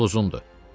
Yol uzundur.